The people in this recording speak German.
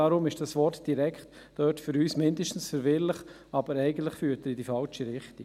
Deshalb ist das Wort «direkt» für uns zumindest verwirrend und führt eigentlich in die falsche Richtung.